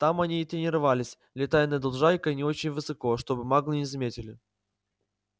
там они и тренировались летая над лужайкой не очень высоко чтобы маглы не заметили